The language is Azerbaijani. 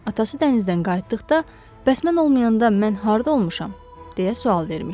Atası dənizdən qayıtdıqda, bəs mən olmayanda mən harda olmuşam, deyə sual vermişdi.